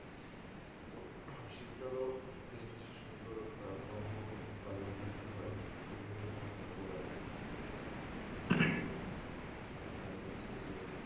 হ্যাঁ শীত কালেও কিছু কিছু সুন্দর ফল মূল বাজারে বিক্রি হয় এইগুলো দেখেও ভালো লাগে যেমন হচ্ছে যে,